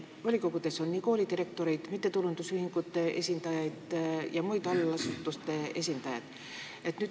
Volikogudes on ka koolidirektoreid, mittetulundusühingute esindajaid ja muid allasutuste esindajaid.